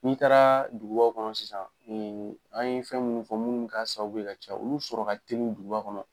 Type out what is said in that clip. N'i taara dugubaw kɔnɔ sisan , an ye fɛn munnu fɔ munnu ka sababu ye ka caya, olu sɔrɔ ka di duguba kɔnɔ.